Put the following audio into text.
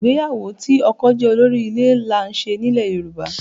Ìgbéyàwó tí ọkọ jẹ́ olórí ilé là ń ṣe nílẹ̀ Yorùbá